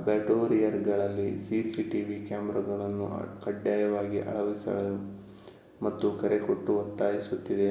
ಅಬ್ಯಾಟೊಯಿರ್‌ಗಳಲ್ಲಿ cctv ಕ್ಯಾಮೆರಾಗಳನ್ನು ಕಡ್ಡಾಯವಾಗಿ ಅಳವಡಿಸಲು ಮತ್ತೆ ಕರೆಕೊಟ್ಟು ಒತ್ತಾಯಿಸುತ್ತಿದೆ